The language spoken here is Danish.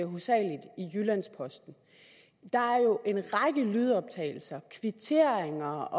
hovedsagelig i jyllands posten der er jo en række lydoptagelser kvitteringer